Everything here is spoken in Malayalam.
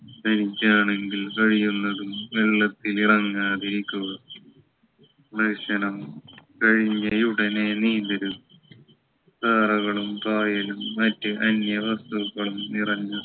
ഇരുട്ടാണെങ്കിൽ കഴിയുന്നതും വെള്ളത്തിൽ ഇറങ്ങാതിരിക്കുക ഭക്ഷണം കഴഞ്ഞയുടനെ നീന്തരുത് tyre കളും കായലും മറ്റു അന്യ വസ്തുക്കളും നിറഞ്ഞ